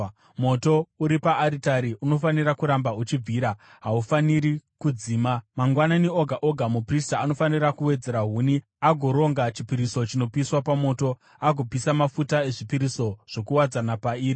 Moto uri paaritari unofanira kuramba uchibvira, haufaniri kudzima. Mangwanani oga oga muprista anofanira kuwedzera huni agoronga chipiriso chinopiswa pamoto, agopisa mafuta ezvipiriso zvokuwadzana pairi.